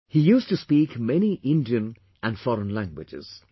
He used to speak many Indian and foreign languages